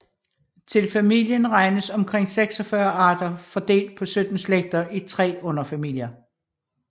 Til familien regnes omkring 46 arter fordelt på 17 slægter i tre underfamilier